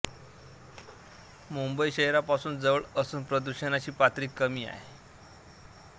मुंबई शहरापासून जवळ असून प्रदूषणाची पातळी कमी आहे